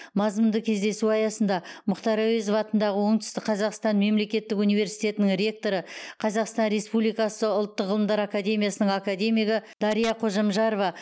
мазмұнды кездесу аясында мұхтар әуезов атындағы оңтүстік қазақстан мемлекеттік университетінің ректоры қазақстан республикасы ұлттық ғылым академиясының академигі дария қожамжарова